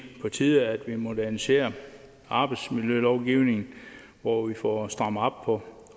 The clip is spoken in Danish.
på tide at vi moderniserer arbejdsmiljølovgivningen og får strammet op på